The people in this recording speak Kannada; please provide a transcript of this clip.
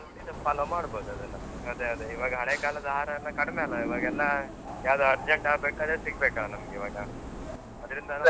ಇದನ್ನ follow ಮಾಡ್ಬಹುದು ಅದೆಲ್ಲ. ಅದೆ ಅದೆ ಈವಾಗ ಹಳೇ ಕಾಲದ ಆಹಾರಯೆಲ್ಲ ಕಡಿಮೆ ಅಲ್ಲ, ಈವಾಗೆಲ್ಲ ಯಾವುದು urgent ಆಗ್ಬೇಕು ಅದೇ ಸಿಗ್ಬೇಕಲ್ಲ ನಮ್ಗೆ ಈವಾಗ. ಅದ್ರಿಂದ